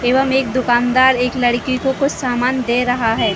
एवं एक दुकानदार एक लड़की को कुछ सामान दे रहा है।